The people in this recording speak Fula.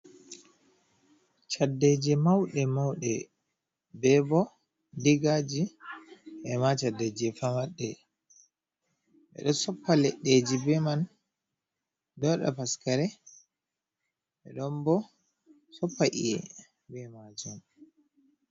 Caddeje mauɗe mauɗe, bebo digaji ema caddeje femarɗe, ɓeɗo soppa leɗɗeji beman ɗowaɗa paskare ɓeɗon bo soppa i'e be majun.